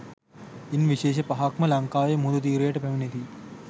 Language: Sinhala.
ඉන් විශේෂ පහක්ම ලංකාවේ මුහුදු තීරයට පැමිණෙති